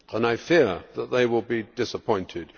I fear that they will be disappointed.